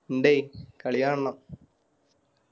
ഇണ്ടെയ് കളി കാണണം